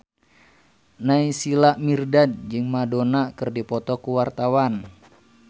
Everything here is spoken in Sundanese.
Naysila Mirdad jeung Madonna keur dipoto ku wartawan